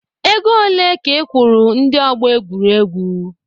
Ego ole ka ị kwụrụ ndi ọgbọ egwuregwu?